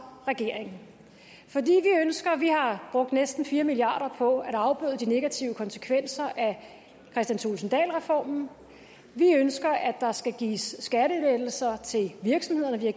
regeringen vi har brugt næsten fire milliard kroner på at afbøde de negative konsekvenser af kristian thulesen dahl reformen og vi ønsker at der skal gives skattelettelser til virksomhederne vi har